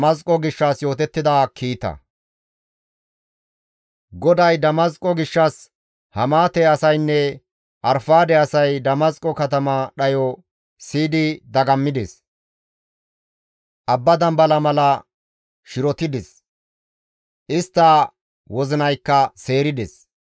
GODAY Damasqo gishshas, «Hamaate asaynne Arfaade asay Damasqo katama dhayo siyidi dagammides; abba dambala mala shirotides; istta wozinaykka seerides.